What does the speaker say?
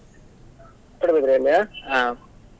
Padubidri ಯಲ್ಲಿಯಾ?